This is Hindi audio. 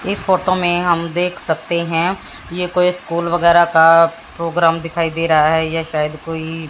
इस फोटो मे हम देख सकते हैं ये कोई स्कूल वगैरा का प्रोग्राम दिखाई दे रहा है यह शायद कोई--